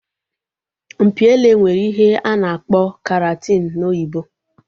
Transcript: Mpi ele nwere ihe a na-akpọ keratin n'oyibo